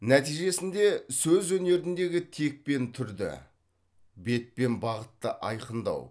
нәтижесінде сөз өнеріндегі тек пен түрді бет пен бағытты айқындау